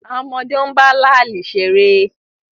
Àwọn ọmọdé ń bá láàlì ṣeré